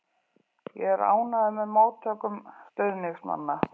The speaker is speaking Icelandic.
Ég er ánægður með móttökum stuðningsmanna.